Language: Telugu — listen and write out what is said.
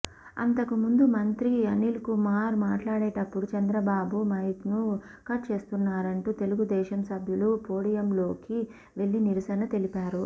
అంతకుముందు మంత్రి అనిల్కుమార్ మాట్లాడేటప్పుడు చంద్రబాబు మైక్ను కట్ చేస్తున్నారంటూ తెలుగుదేశం సభ్యులు పోడియంలోకి వెళ్లి నిరసన తెలిపారు